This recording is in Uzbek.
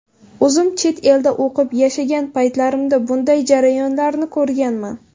O‘zim chet elda o‘qib, yashagan paytlarimda bunday jarayonlarni ko‘rganman.